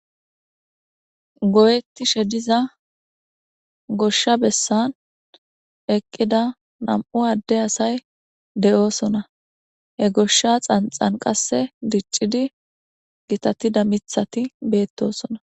goyetti she diza goshsha bessan eqqida nam7u adde asay de7oosona he goshsha xanxan qasse diccidi gitatida mithati beettosona